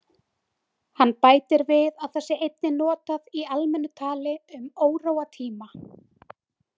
Hann bætir við að það sé einnig notað í almennu tali um óróatíma.